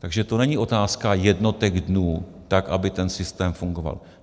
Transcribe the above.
Takže to není otázka jednotek dnů, tak aby ten systém fungoval.